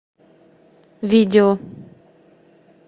видео